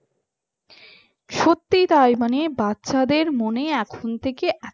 সত্যি তাই মানে বাচ্চাদের মনে এখন থেকে